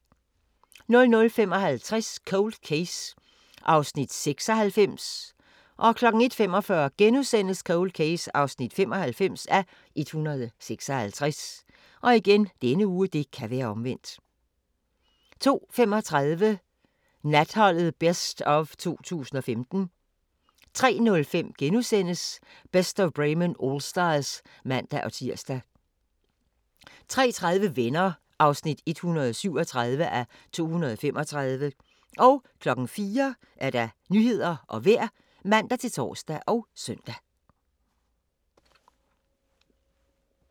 00:55: Cold Case (96:156) 01:45: Cold Case (95:156)* 02:35: Natholdet Best of 2015 03:05: Best of Bremen Allstars *(man-tir) 03:30: Venner (137:235) 04:00: Nyhederne og Vejret (man-tor og søn)